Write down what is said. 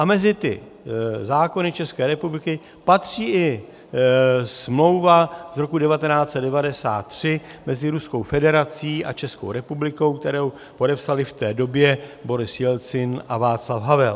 A mezi ty zákony České republiky patří i smlouva z roku 1993 mezi Ruskou federací a Českou republikou, kterou podepsali v té době Boris Jelcin a Václav Havel.